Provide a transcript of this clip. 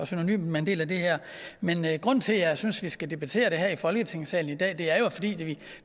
synonymt med en del af det her men men grunden til jeg synes at vi skal debattere det her i folketingssalen i dag er jo at